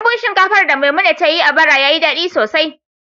Dambun shinkafar da Maimuna ta yi a bara ya yi daɗi sosai.